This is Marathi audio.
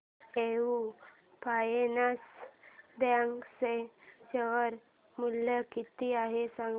एयू फायनान्स बँक चे शेअर मूल्य किती आहे सांगा